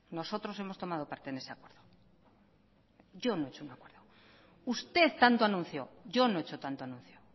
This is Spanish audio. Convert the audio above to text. nosotros hemos tomado parte en ese acuerdo yo no he hecho un acuerdo usted tanto anunció yo no he hecho tanto anuncio